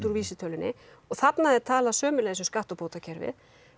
vísitölunni þarna er talað sömuleiðis um skattabótakerfið